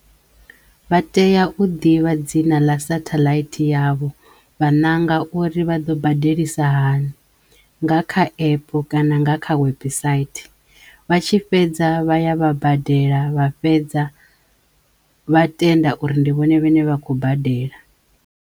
Vha teya u ḓivha dzina ḽa sathaḽaithi yavho vha nanga uri vha ḓo badelisa hani nga kha epu kana nga kha website vha tshi fhedza vha ya vha badela vha fhedza vha tenda uri ndi vhone vhane vha khou badela.